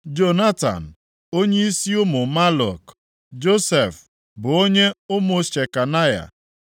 Jonatan, onyeisi ụmụ Maluk; Josef bụ onyeisi ụmụ Shekanaya + 12:14 Shekanaya ọtụtụ akwụkwọ ndị Hibru na-ede Shebayana;